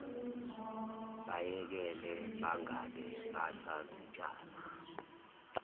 bayekele bangabe basazitshala